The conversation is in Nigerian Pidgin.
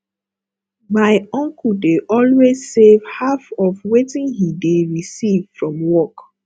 my uncle dey always save half of wetin he dey receive from work